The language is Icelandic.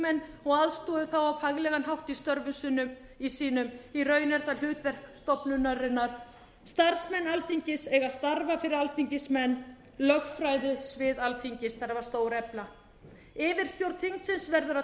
þingmenn og aðstoði þá á faglegan hátt í störfum sínum því raun er það hlutverk stofnunarinnar starfsmenn alþingis eiga að starfa fyrir alþingismenn lögfræðisvið alþingis þarf að stórefla yfirstjórn þingsins verður að